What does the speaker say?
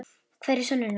Hvar eru sönnunargögnin?